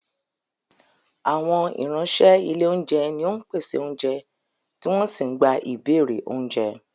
Àwọn ìránṣẹ́ ilé oúnjẹ ni ó ń pèsè oúnjẹ tí wọ́n sì ń gba ìbéèrè oúnjẹ